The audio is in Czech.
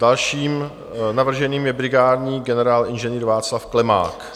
Dalším navrženým je brigádní generál Ing. Václav Klemák.